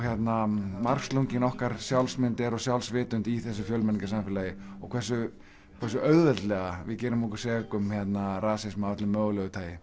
margslungin okkar sjálfsmynd er og sjálfsvitund í þessu fjölmenningarsamfélagi og hversu hversu auðveldlega við gerum okkur sek um rasisma af öllu mögulegu tagi